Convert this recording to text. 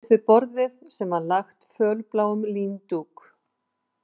Hann settist við borðið sem var lagt fölbláum líndúk